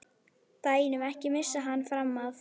BÆNUM, EKKI MISSA HANN FRAM AF!